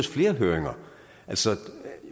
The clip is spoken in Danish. flere høringer altså